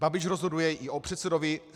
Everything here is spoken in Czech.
Babiš rozhoduje i o předsedovi